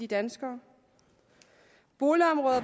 danskere boligområder